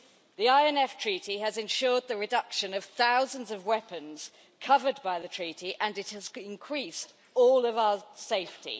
The INF Treaty has ensured the reduction of thousands of weapons covered by the Treaty and it has increased all of our safety.